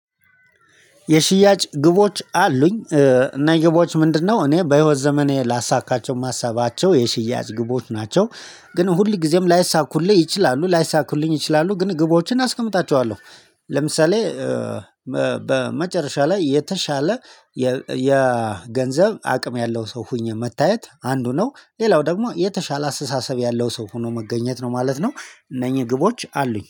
የሽያጭ ግቦች አሉኝ። እና የግቦች ምንድነው? እኔ በህይወት ዘመኔ ላሳካቸው የማሰባቸው የሽያጭ ግቦች ናቸው። ግን ሁል ጊዜም ላይሳኩልኝ ይችላሉ ላይሳኩልኝ ይችላሉ ግን ግቦችን አስቀምጣቸዋለሁ። ለምሳሌ በመጨረሻ ላይ የተሻለ የገንዘብ አቅም ያለው ሰው ሆኜ መታየት አንዱ ነው ሌላው ደግሞ የተሻለ አስተሳሰብ ያለው ሰው ሆኖ መገኘት ነው ማለት ነው። እነኚህ ግቦች አሉኝ